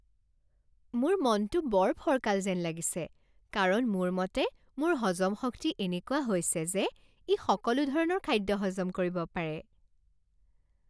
মোৰ মনটো বৰ ফৰকাল যেন লাগিছে কাৰণ মোৰ মতে মোৰ হজম শক্তি এনেকুৱা হৈছে যে ই সকলো ধৰণৰ খাদ্য হজম কৰিব পাৰে।